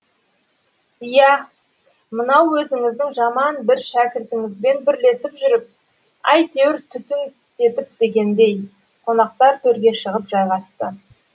иә мынау өзіңіздің жаман бір шәкіртіңізбен бірлесіп жүріп әйтеуір түтін түтетіп дегендей қонақтар төрге шығып жайғасты